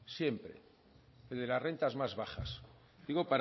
siempre el de las rentas más bajas digo